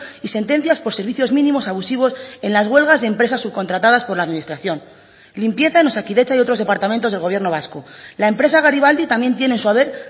y sentencias por servicios mínimos abusivos en las huelgas y empresas subcontratadas por la administración limpieza en osakidetza y otros departamentos del gobierno vasco la empresa garibaldi también tiene en su haber